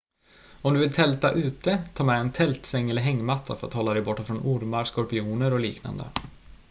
om du vill tälta ute ta med en tältsäng eller hängmatta för att hålla dig borta från ormar skorpioner och liknande